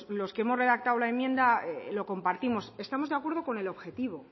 los que hemos redactado la enmienda lo compartimos estamos de acuerdo con el objetivo